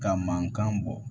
Ka mankan bɔ